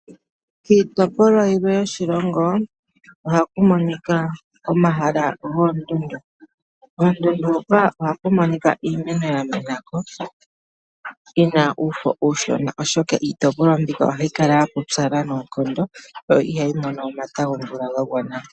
kiitopolwa yilwe yoshilongo ohaku monika omahala goondundu. Koondundu huka ohaku monika iimeno ya mena ko yi na uufo uushona, oshoka iitopolwa mbika ohayi kala ya pupyala noonkondo yo ihayi mono omata gomvula ga gwana.